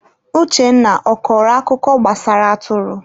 Uchenna, ọ kọrọ akụkọ gbasara atụrụ?